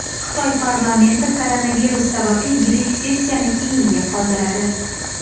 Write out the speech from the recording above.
Xitoy parlamenti koronavirus sababli yillik sessiyani keyinga qoldiradi.